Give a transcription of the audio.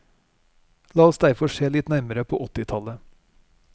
La oss derfor se litt nærmere på åttitallet.